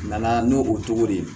Nana n'o o cogo de ye